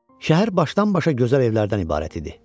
Şəhər başdan-başa gözəl evlərdən ibarət idi.